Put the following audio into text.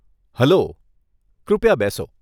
Hello, કૃપયા બેસો.